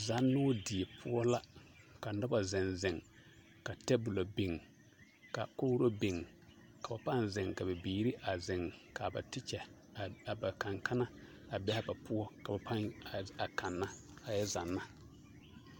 Zannoo die poɔ la ka noba zeŋ zeŋ ka teebolo biŋ ka kogiri biŋ k'o pãã zeŋ ka bibiiri a zeŋ ka ba tekyɛ a ba kanne kanna a be a ba poɔ ka ba pãã kanna a yɛ zanna.